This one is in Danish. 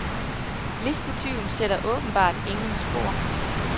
Listetyven sætter åbenbart ingen spor.